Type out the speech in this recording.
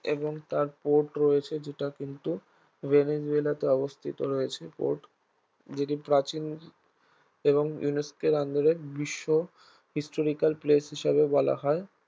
এবং তার port রয়েছে যেটা কিন্তু ভেনিজুয়েলাতে অবস্থিত রয়েছে port যদি প্রাচীন এবং UNESCO এর আন্দরে বিশ্ব historical place হিসাবে বলা হয়